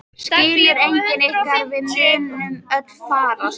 Skilur enginn ykkar að við munum öll farast?